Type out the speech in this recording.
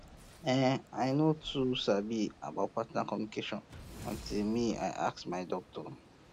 eh i no too um sabi about partner communication um until me i ask my doctor